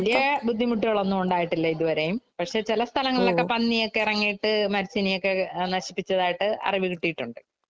വല്യ ബുദ്ധിമുട്ടുകളൊന്നുമുണ്ടായിട്ടില്ല ഇതുവരെയും പക്ഷേ ചില സ്ഥലങ്ങളിലൊക്കെ പന്നിയൊക്കെ എറങ്ങിയിട്ട് മരച്ചിനിയൊക്കെ നശിപ്പിച്ചതായിട്ടു അറിവ് കിട്ടിയിട്ടുണ്ട്.